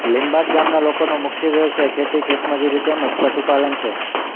લીંબાડ ગામના લોકોનો મુખ્ય વ્યવસાય ખેતી ખેતમજૂરી તેમ જ પશુપાલન છે